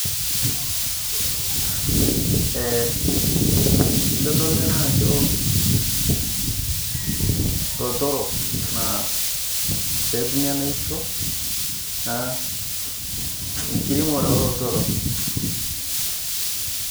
Itodolu ena ajo ilotorok petumi enaisho naa enkiremore olotorok.